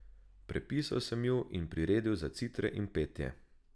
Prepisal sem ju in priredil za citre in petje.